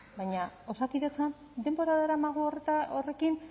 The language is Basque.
baina osakidetzan denbora daramagu horrekin